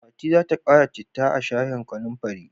Fati za ta ƙara citta a shayin kanumfarin.